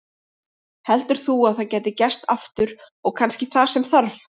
Heldur þú að það gæti gerst aftur og kannski það sem þarf?